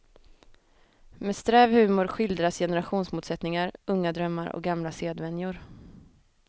Med sträv humor skildras generationsmotsättningar, unga drömmar och gamla sedvänjor.